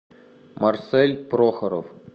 марсель прохоров